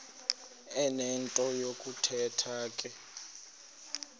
enento yokuthetha ke